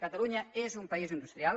catalunya és un país industrial